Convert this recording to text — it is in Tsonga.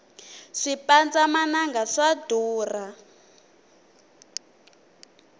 swipandza mananga swa durha